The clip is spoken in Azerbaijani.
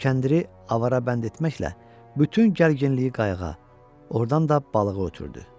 Kəndiri avara bənd etməklə bütün gərginliyi qayıqa, ordan da balığa ötürdü.